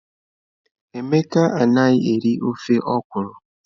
Emeka anaghị eri ofe okwụrụ.